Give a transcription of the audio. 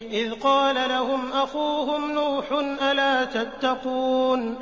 إِذْ قَالَ لَهُمْ أَخُوهُمْ نُوحٌ أَلَا تَتَّقُونَ